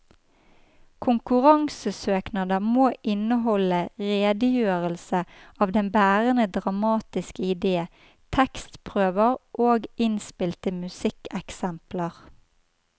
Konkurransesøknader må inneholde redegjørelse av den bærende dramatiske idé, tekstprøver og innspilte musikkeksempler.